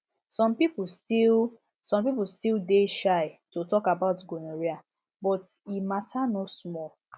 some people still some people still dey shy to talk about gonorrhea but e matter no small